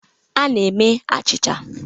A na-eme achịcha.